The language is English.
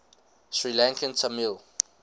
sri lankan tamil